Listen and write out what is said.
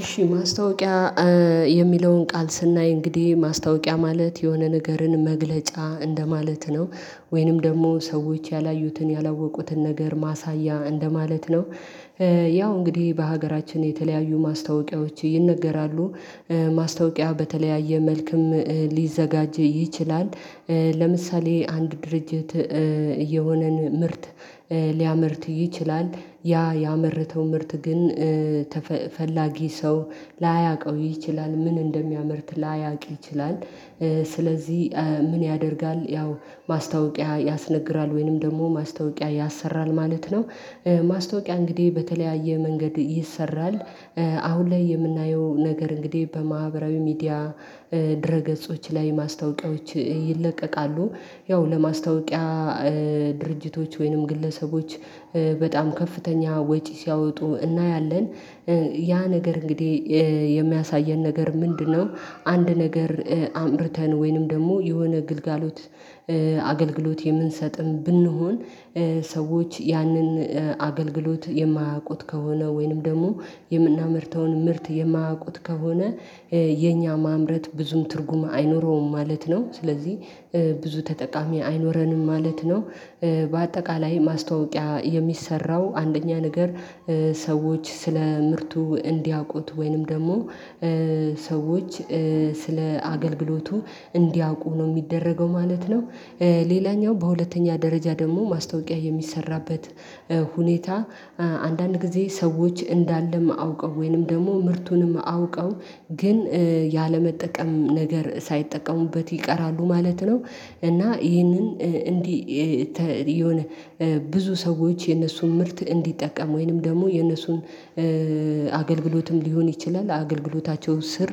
እሺ ማስታወቂያ የሚለውን ቃል ስናይ እንግዲህ ማስታወቂያ ማለት የሆነ ነገርን መግለጫ እንደማለት ነው። ወይንም ደግሞ ሰዎች ያላዩትን ያላወቁትን ነገር ማሳያ እንደማለት ነው። ያው እንግዲህ በሀገራችን የተለያዩ ማስታወቂያዎች ይነገራሉ። ማስታወቂያ በተለያየ መልክም ሊዘጋጅ ይችላል። ለምሳሌ አንድ ድርጅት የሆነን ምርት ሊያመርት ይችላል ያ ያመረተው ምርት ግን ፈላጊ ሰው ላያውቀው ይችላል ምን እንደሚያመርት ላያውቅ ይችላል። ስለዚህ ምን ያደርጋል ያው ማስታወቂያ ያስነግራል ወይንም ደግሞ ማስታወቂያ ያሰራል ማለት ነው። ማስታወቂያ እንግዲህ በተለያየ መንገድ ይሰራል። አሁን ላይ የምናየው ነገር እንግዲህ በማህበራዊ ሚዲያ ድረ ገጾች ላይ ማስታወቂያዎች ይለቀቃሉ። ያው ለማስታወቂያ ድርጅቶች ወይንም ግለሰቦች በጣም ከፍተኛ ወጪ ሲያወጡ እናያለን። ያ ነገር እንግዲህ የሚያሳየን ነገር ምንድነው? አንድ ነገር አምርተን ወይንም ደግሞ የሆነ ግልጋሎት አገልግሎት የምንሰጥም ብንሆን ሰዎች ያንን አገልግሎት የማያውቁት ከሆነ ወይንም ደግሞ የምናመርተውን ምርት የማያውቁት ከሆነ። የኛ ማምረት ብዙም ትርጉም አይኖረውም ማለት ነው ስለዚህ ብዙ ተጠቃሚ አይኖረንም ማለት ነው። በአጠቃላይ ማስታወቂያ የሚሰራው አንደኛ ነገር ሰዎች ስለ ምርቱ እንዲያውቁት ወይንም ደግሞ ሰዎች ስለ አገልግሎቱ እንዲያውቁ ነው እሚደረገው ማለት ነው። ሌላኛው በሁለተኛ ደረጃ ደግሞ ማስታወቂያ የሚሰራበት ሁኔታ አንዳንድ ጊዜ ሰዎች እንዳለም አውቀው ወይንም ደግሞ ምርቱንም አውቀው ግን ያለመጠቀም ነገር ሳይጠቀሙበት ይቀራሉ ማለት ነው። እና ይህንን እንዲህ የሆነ ብዙ ሰዎች የነሱን ምርት እንዲጠቀም ወይንም ደግሞ የነሱን አገልግሎትም ሊሆን ይችላል አገልግሎታቸው ስር